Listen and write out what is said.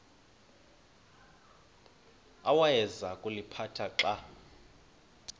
awayeza kuliphatha xa